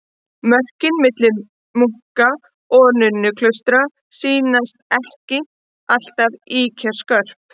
Mörkin milli munka- og nunnuklaustra sýnast ekki alltaf ýkja skörp.